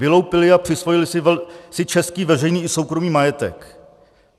Vyloupili a přisvojili si český veřejný i soukromý majetek...